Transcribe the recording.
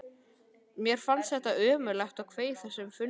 Mér fannst þetta ömurlegt og kveið þessum fundum óskaplega.